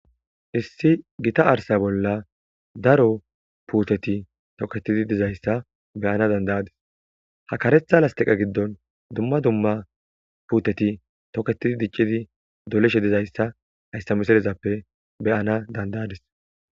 issi gita arsa bolla daro puuteti toketidi dizayssa beyana dandayadis ha karetha lastiqa giddon dumma dumma puuteti toketidi diccidi dolishe dizayssa hayssa misirezappe beyana dandayadis